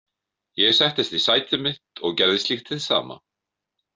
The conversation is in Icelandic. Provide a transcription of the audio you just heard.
Ég settist í sæti mitt og gerði slíkt hið sama.